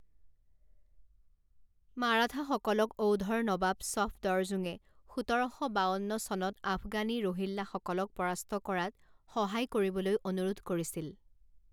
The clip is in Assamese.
মাৰাঠাসকলক অউধৰ নবাব ছফদৰজুঙে সোতৰ শ বাৱন্ন চনত আফগানী ৰোহিল্লাসকলক পৰাস্ত কৰাত সহায় কৰিবলৈ অনুৰোধ কৰিছিল।